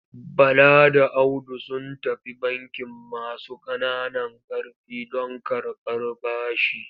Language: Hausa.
Bala da Audu sun tafi bankin masu ƙananan ƙarfi don karɓar bashi.